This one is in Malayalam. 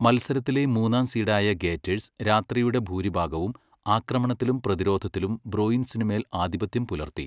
മത്സരത്തിലെ മൂന്നാം സീഡായ ഗേറ്റേഴ്സ് രാത്രിയുടെ ഭൂരിഭാഗവും ആക്രമണത്തിലും പ്രതിരോധത്തിലും ബ്രൂയിൻസിനുമേൽ ആധിപത്യം പുലർത്തി.